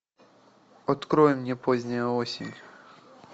открой мне поздняя осень